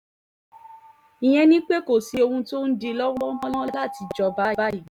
ìyẹn ni pé kò sí ohun tó ń dí i lọ́wọ́ mọ́ láti jọba báyìí